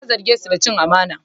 Ya zarge su da cin amana.